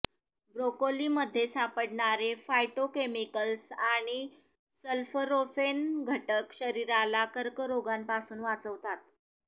broccoli मध्ये सापडणारे phytochemicals आणि सल्फरोफेनघटक शरीराला कर्करोगापासून वाचवतात